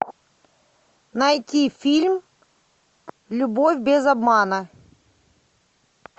найти фильм любовь без обмана